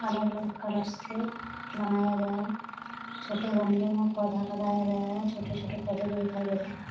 अलग-अलग कलर से बनाया गया है। छोटे गमले में पौधा लगाया गया है। छोटे-छोटे पौधे भी दिखाई दे रहें हैं।